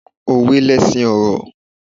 Òwe lesin ọ̀rọ̀